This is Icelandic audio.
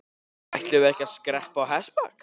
Ætluðum við ekki að skreppa á hestbak?